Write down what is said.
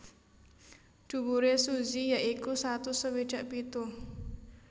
Dhuwure Suzy ya iku satus swidak pitu